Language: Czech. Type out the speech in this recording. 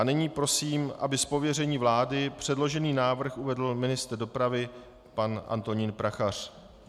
A nyní prosím, aby z pověření vlády předložený návrh uvedl ministr dopravy pan Antonín Prachař.